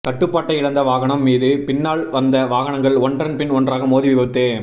கட்டுப்பாட்டை இழந்த வாகனம் மீது பின்னால் வந்த வாகனங்கள் ஒன்றன் பின் ஒன்றாக மோதி விபத்து